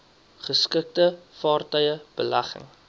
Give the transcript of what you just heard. geskikte vaartuie belegging